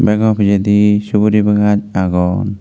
begow pijedi suguri bagan agon.